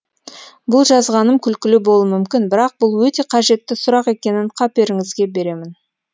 бұл жазғаным күлкілі болуы мүмкін бірақ бұл өте қажетті сұрақ екенін қаперіңізге беремін